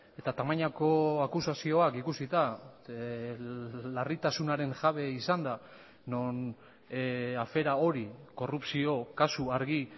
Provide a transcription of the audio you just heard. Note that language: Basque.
eta tamainako akusazioak ikusita larritasunaren jabe izanda non afera hori korrupzio kasu argi